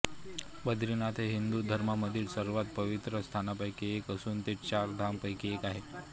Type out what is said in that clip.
बद्रीनाथ हे हिंदू धर्मामधील सर्वात पवित्र स्थानांपैकी एक असून ते चार धाम पैकी आहे